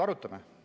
Arutame seda.